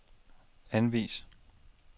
anvis